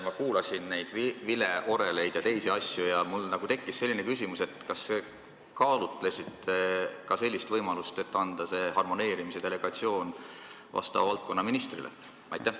Ma kuulasin juttu vileorelite ja teiste asjade kohta ja mul tekkis selline küsimus: kas te kaalutlesite ka sellist võimalust, et delegeerida see harmoneerimine valdkonnaministrile?